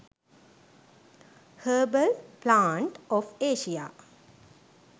herbal plant of asia